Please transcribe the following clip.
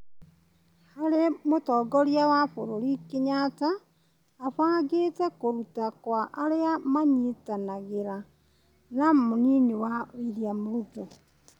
harĩa mũtongoria wa bũrũri Kenyatta abangĩtĩ kũrutwo kwa arĩa manyitanagĩra na mũnini wake William Ruto ,